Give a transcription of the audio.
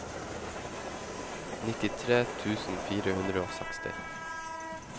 nittitre tusen fire hundre og seksti